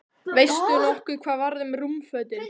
Veistu nokkuð hvað varð um rúmfötin?